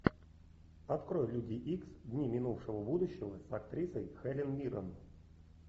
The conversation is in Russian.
открой люди икс дни минувшего будущего с актрисой хелен миррен